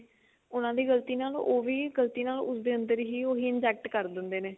ਉਹਨਾ ਦੀ ਗਲਤੀ ਨਾਲ ਉਹ ਵੀ ਗਲਤੀ ਨਾਲ ਉਸਦੇ ਅੰਦਰ ਹੀ ਉਹੀ inject ਕਰ ਦਿੰਦੇ ਨੇ